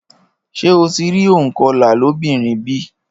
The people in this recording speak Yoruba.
Ṣé o ti rí ònkọlà lóbìnrin bí?